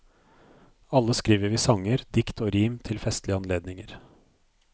Alle skriver vi sanger, dikt og rim til festlige anledninger.